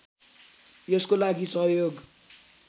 यसको लागि सहयोग